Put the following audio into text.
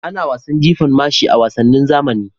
Ana wasan jifan mashi a wasannin zamani.